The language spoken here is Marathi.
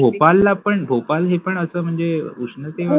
भोपाळला पण भोपाळणे पण असा म्हणजे उष्णते